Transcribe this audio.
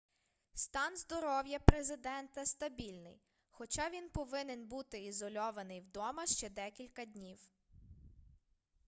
стан здоров'я президента стабільний хоча він повинен буди ізольований вдома ще декілька днів